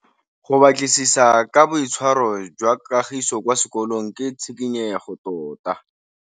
Go batlisisa ka boitshwaro jwa Kagiso kwa sekolong ke tshikinyêgô tota.